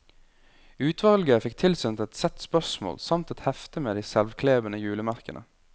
Utvalget fikk tilsendt et sett spørsmål samt et hefte med de selvklebende julemerkene.